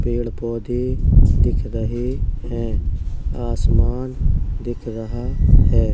पेड़ पौधे दिख रहे है। आसमान दिख रहा है।